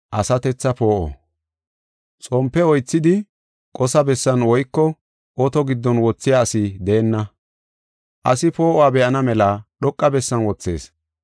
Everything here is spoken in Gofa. “Xompe oythidi qosa bessan woyko oto giddon wothiya asi deenna. Asi poo7uwa be7ana mela dhoqa bessan wothees.